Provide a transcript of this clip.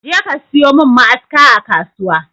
Je ka sayo min ma'aska a kasuwa!